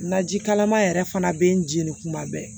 Naji kalama yɛrɛ fana bɛ n jeni kuma bɛɛ